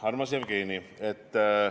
Armas Jevgeni!